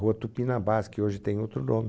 Rua Tupinambás, que hoje tem outro nome.